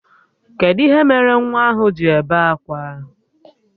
Kedụ ihe mere nwa ahụ ji ebe akwa?